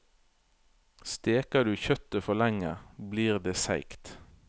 Steker du kjøttet for lenge, blir det seigt.